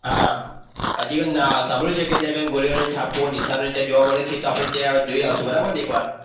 હા હજી પણ મેં સાંભળ્યું છે કે કેટલાક ગોળીઓના નિશાનો ત્યાં જોવા મળે છે તો આપણે ત્યાં જોઈ આવીશું બરાબર ને એકવાર.